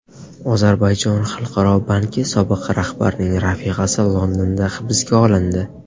Ozarbayjon Xalqaro banki sobiq rahbarining rafiqasi Londonda hibsga olindi.